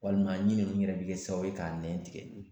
Walima ɲin ninnu yɛrɛ bɛ kɛ sababu ye k'a nɛn tigɛ